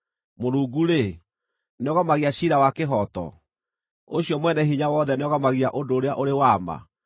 Mũrungu-rĩ, nĩogomagia ciira wa kĩhooto? Ũcio Mwene-Hinya-Wothe nĩogomagia ũndũ ũrĩa ũrĩ wa ma?